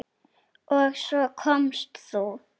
Og svo komst þú!